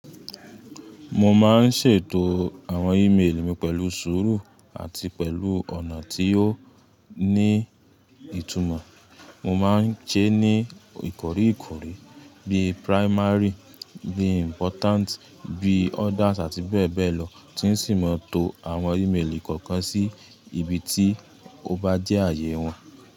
Mo máa ń ṣètò àwọn ímeèlì mi pẹ̀lú sùúrù àti pẹ̀lú ọ̀nà tí yóò ní ìtumọ̀. Mo máa ń ṣe ní ìkọ́ríìkọ́rí bí primary, bí important, bí others àti bẹ́ẹ̀ bẹ́ẹ̀ lọ tí n sì máa to àwọn ímeèlì kọ̀ọ̀kan sí ibi tí ó bá jẹ́ ààyè wọn.